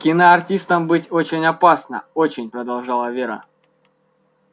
киноартистом быть очень опасно очень продолжала вера